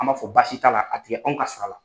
An b'a fɔ basi t'a la a tigɛ anw ka sara la.